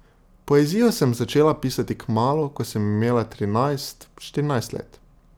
Poezijo sem začela pisati kmalu, ko sem imela trinajst, štirinajst let.